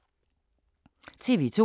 TV 2